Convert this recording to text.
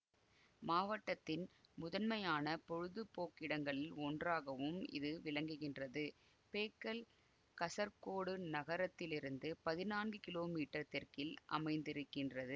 மாவட்டத்தின் முதன்மையான பொழுதுபோக்கிடங்களில் ஒன்றாகவும் இது விளங்குகின்றது பேக்கல் கசர்கோடு நகரத்திலிருந்து பதினான்கு கிலோ மீட்டர் தெற்கில் அமைந்திருக்கின்றது